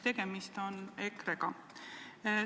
Tegemist on EKRE-ga.